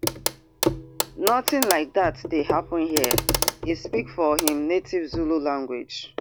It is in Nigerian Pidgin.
nothing like dat dey happun hia e speak for im native zulu language